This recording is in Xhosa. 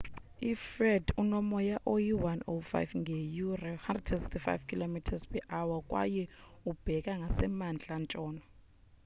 ifred unomoya oyi-105 ngeyure 165km/h kwaye ubheka ngasemantla ntshona